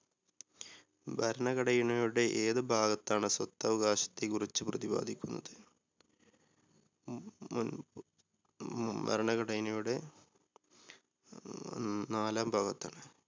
ഭരണഘടനയുടെ ഏത് ഭാഗത്താണ് സ്വത്തവകാശത്തെ കുറിച്ച് പ്രതിബാധിക്കുന്നത്? ഉം ഉം ഉം ഭരണഘടനയുടെ നാലാം ഭാഗത്താണ്.